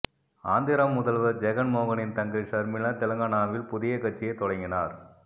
ஆந்திர முதல்வர் ஜெகன் மோகனின் தங்கை ஷர்மிளா தெலங்கானாவில் புதிய கட்சியை தொடங்கினார்